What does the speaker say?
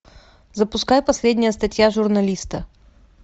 запускай последняя статья журналиста